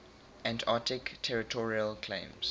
antarctic territorial claims